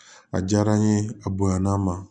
A diyara n ye a bonyana n ma